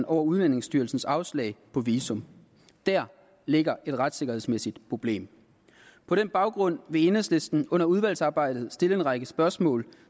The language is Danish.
over udlændingestyrelsens afslag på visum der ligger et retssikkerhedsmæssigt problem på den baggrund vil enhedslisten under udvalgsarbejdet stille en række spørgsmål